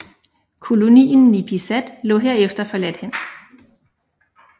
Kolonien Nipisat lå herefter forladt hen